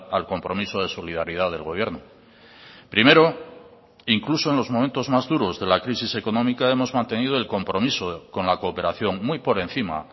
al compromiso de solidaridad del gobierno primero incluso en los momentos más duros de la crisis económica hemos mantenido el compromiso con la cooperación muy por encima